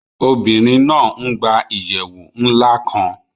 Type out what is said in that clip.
Obìnrin náa n gbà ìyèwù nlá kán